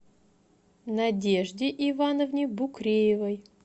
надежде ивановне букреевой